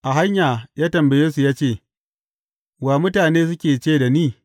A hanya ya tambaye su ya ce, Wa, mutane suke ce da ni?